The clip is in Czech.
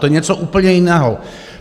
To je něco úplně jiného.